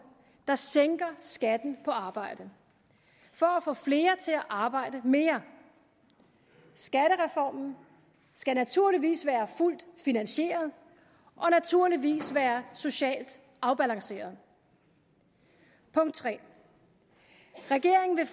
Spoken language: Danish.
der sænker skatten på arbejde for at få flere til at arbejde mere skattereformen skal naturligvis være fuldt finansieret og naturligvis være socialt afbalanceret punkt 3 regeringen vil